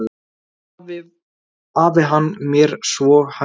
Sem afi var hann mér svo kær.